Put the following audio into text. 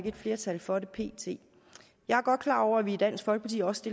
et flertal for det pt jeg er godt klar over at vi i dansk folkeparti også